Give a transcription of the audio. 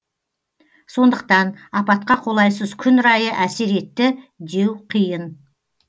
сондықтан апатқа қолайсыз күн райы әсер етті деу қиын